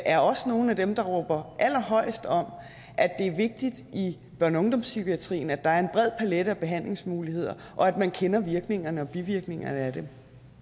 er også nogle af dem der råber allerhøjest om at det er vigtigt i børne og ungdomspsykiatrien at der er en bred palette af behandlingsmuligheder og at man kender virkningerne og bivirkningerne af dem